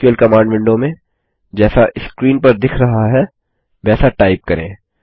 SQL command window में जैसा screen पर दिख रहा है वैसा टाइप करें